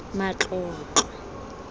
matlotlo